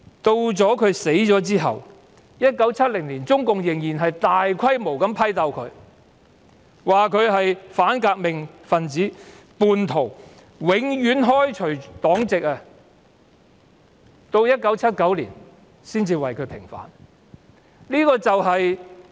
他死後，在1970年，中共仍大規模批鬥他，指他是反革命分子、叛徒，並永久開除他的黨籍，直到1979年才為他平反。